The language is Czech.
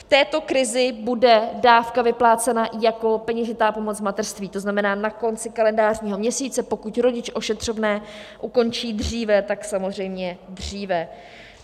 V této krizi bude dávka vyplácena jako peněžitá pomoc v mateřství, to znamená na konci kalendářního měsíce, pokud rodič ošetřovné ukončí dříve, tak samozřejmě dříve.